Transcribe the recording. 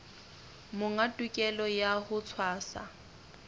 monga tokelo ya ho tshwasa